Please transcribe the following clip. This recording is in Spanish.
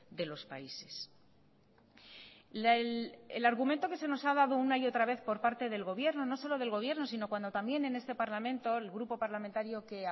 de los países el argumento que se nos ha dado una y otra vez por parte del gobierno no solo del gobierno sino cuando también en este parlamento el grupo parlamentario que